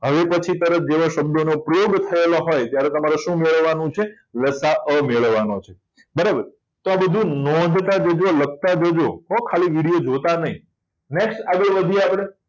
અવિભાજ્ય તરફ જેવા શબ્દોનો ઉપયોગ થયો હોય ત્યારે તમારે શું મેળવવાનું છે લસાઅ મેળવવાનો છે બરાબર તો આ બધું નોધતા જજો લખતા જજો. ખાલી video જોતા નહીં. next આગળ વધીએ